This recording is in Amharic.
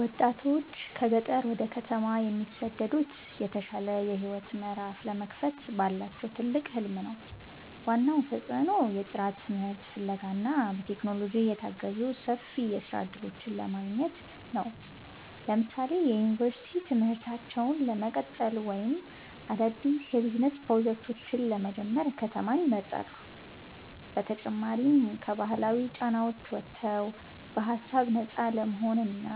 ወጣቶች ከገጠር ወደ ከተማ የሚሰደዱት የተሻለ የህይወት ምዕራፍ ለመክፈት ባላቸው ትልቅ ህልም ነው። ዋናው ተጽዕኖ የጥራት ትምህርት ፍለጋ እና በቴክኖሎጂ የታገዙ ሰፊ የስራ እድሎችን ማግኘት ነው። ለምሳሌ የዩኒቨርሲቲ ትምህርታቸውን ለመቀጠል ወይም አዳዲስ የቢዝነስ ፕሮጀክቶችን ለመጀመር ከተማን ይመርጣሉ። በተጨማሪም ከባህላዊ ጫናዎች ወጥተው በሃሳብ ነፃ ለመሆንና